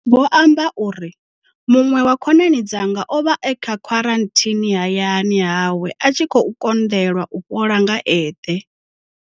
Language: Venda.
Vho amba uri muṅwe wa khonani dzanga o vha e kha khwaranthini hayani hawe a tshi khou konḓelwa u fhola nga eṱhe.